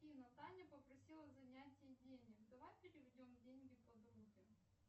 афина таня попросила занять ей денег давай переведем деньги подруге